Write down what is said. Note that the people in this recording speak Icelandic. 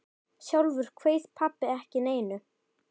Sjálfur kveið pabbi ekki neinu.